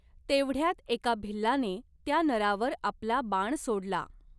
तेवढ्यात एका भिल्लाने त्या नरावर आपला बाण सोडला.